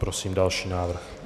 Prosím další návrh.